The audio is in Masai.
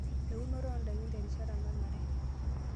Eunore ondaikin terishata nanare.